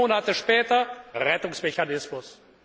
Vier Monate später Rettungsmechanismus.